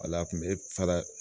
Ala kun be fara